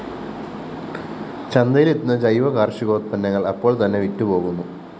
ചന്തയിലെത്തുന്ന ജൈവ കാര്‍ഷികോത്പന്നങ്ങള്‍ അപ്പോള്‍തന്നെ വിറ്റുപോകുന്നു